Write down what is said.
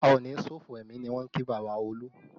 A o ní ṣòfò ẹmi ni wọ́n kí bàbá Olu